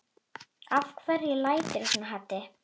Af hverju læturðu svona Haddi?